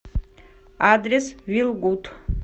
адрес вилгуд